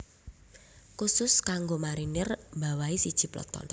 Khusus kanggo Marinir mbawahi siji peleton